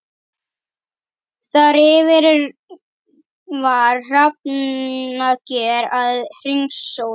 Þar yfir var hrafnager að hringsóla.